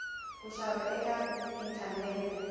ku xava eka inthanethe